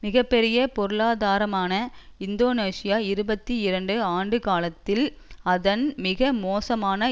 மிக பெரிய பொருளாதாரமான இந்தோனேசியா இருபத்தி இரண்டு ஆண்டு காலத்தில் அதன் மிக மோசமான